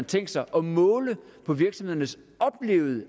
tænkt sig at måle på virksomhedernes oplevede